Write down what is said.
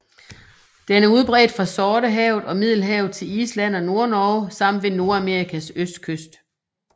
Den er udbredt fra Sortehavet og Middelhavet til Island og Nordnorge samt ved Nordamerikas østkyst